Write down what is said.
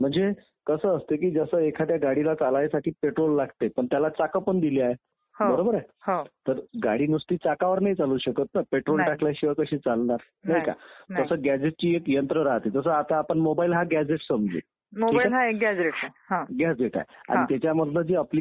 ती एक अप्रत्यक्ष निवडणूक आहे. लोक त्यांना प्रत्यक्ष निवडून न देता लोकांनी निवडून दिलेले जे सभासद असतात उदाहरणार्थ लोकसभेचे सभासद, राज्यसभेचे सभासद आणि विधानसभेचे सभासद हे राष्ट्रपतीला निवडून देतात.